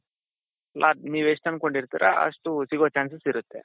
ನೀವ್ ಎಷ್ಟ್ ಅನ್ಕೊಂಡಿರ್ತಿರೋ ಅಷ್ಟ್ ಸಿಗೋ chances ಇರುತ್ತೆ.